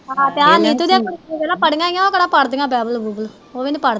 ਹਾਂ ਤੇ ਆ ਨੀਤੂ ਵੇਖਲਾ ਪੜੀਆ ਓ ਉਹ ਕਿਹੜਾ ਪੜਦੀਆ ਬਾਈਬਲ ਬੁਬਲ ਓਵੀ ਨਹੀਂ ਪੜਦੀਆਂ।